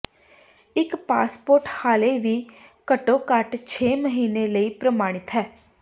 ਇੱਕ ਪਾਸਪੋਰਟ ਹਾਲੇ ਵੀ ਘੱਟੋ ਘੱਟ ਛੇ ਮਹੀਨੇ ਲਈ ਪ੍ਰਮਾਣਿਤ ਹੈ